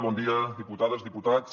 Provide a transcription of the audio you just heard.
bon dia diputades diputats